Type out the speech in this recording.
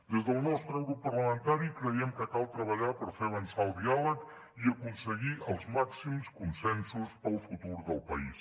des del nostre grup parlamentari creiem que cal treballar per fer avançar el diàleg i aconseguir els màxims consensos per al futur del país